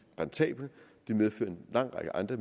rentabelt det medfører en lang række andre